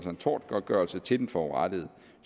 tortgodtgørelse til den forurettede